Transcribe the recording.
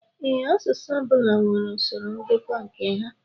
Ee, asụsụ ọbula nwèrè usoro ngụkọ nke ha.